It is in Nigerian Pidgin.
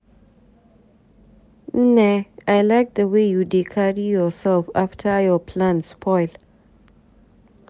Nne I like the way you dey carry yourself after your plan spoil.